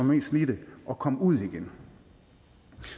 mest slidte at komme ud igen